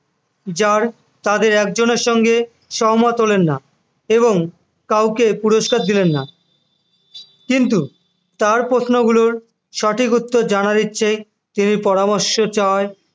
যার তাদের একজনের সঙ্গে সহমত হলেন না এবং কাউকে পুরস্কার দিলেন না কিন্তু তার প্রশ্ন গুলোর সঠিক উত্তর জানার ইচ্ছে তিনি পরামর্শ চায়